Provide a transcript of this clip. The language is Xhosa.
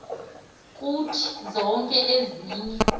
kuthi zonke ezinye